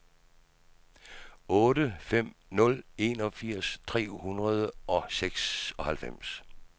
otte fem fem nul enogfirs tre hundrede og seksoghalvfems